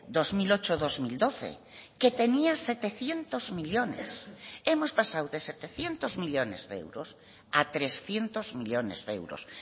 dos mil ocho dos mil doce que tenía setecientos millónes hemos pasado de setecientos millónes de euros a trescientos millónes de euros